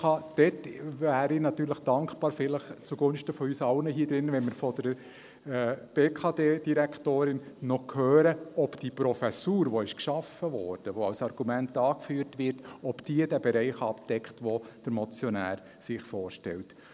Dort wäre ich natürlich dankbar, zugunsten von uns allen in diesem Saal, wenn wir von der BKD-Direktorin noch hören würden, ob diese Professur, die geschaffen wurde, die als Argument angeführt wird, den Bereich abdeckt, den der Motionär sich vorstellt.